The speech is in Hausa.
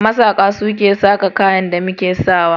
Masaƙa su ke saƙa kayan da muke sa wa.